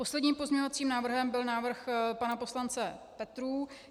Posledním pozměňovacím návrhem byl návrh pana poslance Petrů.